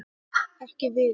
Ekki Viðar.